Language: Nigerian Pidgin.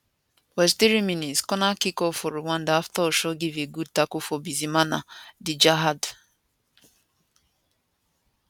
43minscorner kickfor rwanda afta osho give a good tackle to bizimana djihad